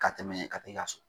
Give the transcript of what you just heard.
Ka tɛmɛ ka t'e ka so